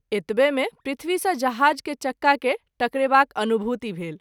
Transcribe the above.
एतबे मे पृथ्वी सँ जहाज के चक्का के टकरेबाक अनुभूति भेल।